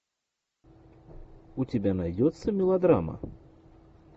у тебя найдется мелодрама